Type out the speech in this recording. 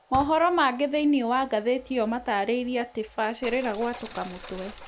Mohoro mangĩ thĩĩnĩ wa ngathĩti ĩyo matarĩirĩe atĩ "BACĨRĨRA GWATŨKA MŨTWE"